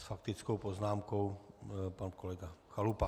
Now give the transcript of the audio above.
S faktickou poznámkou pan kolega Chalupa.